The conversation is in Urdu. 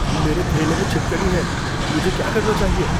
میرے تھیلے میں چھپکلی ہے۔ مجھے کیا کرنا چاہیے؟